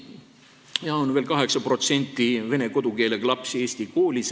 Veel on 8% vene kodukeelega lapsi, kes õpivad eesti koolis.